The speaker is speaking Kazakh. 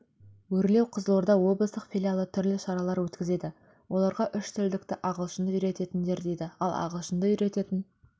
өрлеу қызылорда облыстық филиалы түрлі шаралар өткізеді оларға үштілділікті ағылшынды үйретіңдер дейді ал ағылшынды үйрететін